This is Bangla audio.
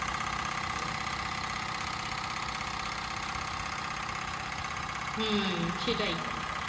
হুম সেটাই